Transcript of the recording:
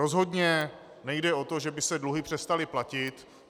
Rozhodně nejde o to, že by se dluhy přestaly platit.